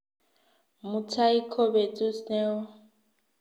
Mutai ko petut ne o.